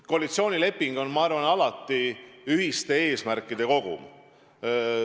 Koalitsioonileping on, ma arvan, alati ühiste eesmärkide kogum.